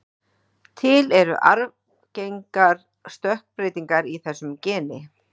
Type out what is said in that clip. Til eru arfgengar stökkbreytingar í þessu geni.